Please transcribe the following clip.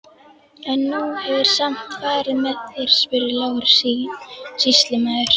En hún hefur samt farið með þér, spurði Lárus sýslumaður.